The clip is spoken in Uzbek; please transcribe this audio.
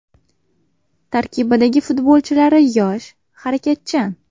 Tarkibidagi futbolchilari yosh, harakatchan.